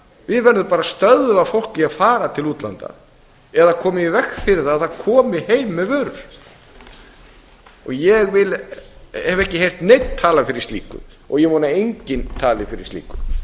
við verðum bara að stöðva fólk í að fara til útlanda eða koma í veg fyrir að það komi heim með vörur ég hef ekki heyrt neinn tala fyrir slíku og ég vona að enginn tali fyrir slíku